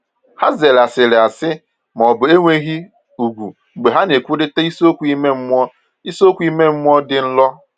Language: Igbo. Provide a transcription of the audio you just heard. Ha zere asịrị asị ma ọ bụ enweghị ùgwù mgbe ha na-ekwurịta isiokwu ime mmụọ isiokwu ime mmụọ dị nro.